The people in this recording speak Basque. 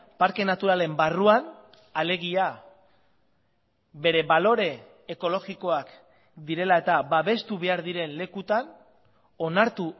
parke naturalen barruan alegia bere balore ekologikoak direla eta babestu behar diren lekutan onartu